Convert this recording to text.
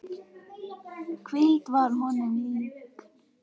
Hvíldin varð honum líkn.